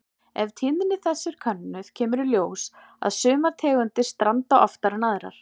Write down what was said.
Ef tíðni þess er könnuð kemur í ljós að sumar tegundir stranda oftar en aðrar.